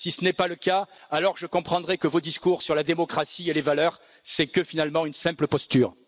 Si c'est le cas, alors je comprendrais que votre discours sur la démocratie et les valeurs n'est finalement qu'une simple imposture.